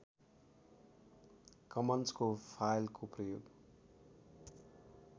कमन्सको फाइलको प्रयोग